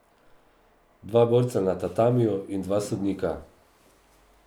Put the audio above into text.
Dva borca na tatamiju in dva sodnika.